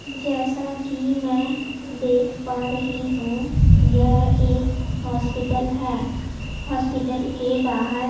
जैसा कि मैं देख पा रही हूं यह एक हॉस्पिटल है हॉस्पिटल के बाहर--